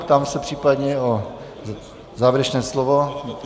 Ptám se případně na závěrečné slovo.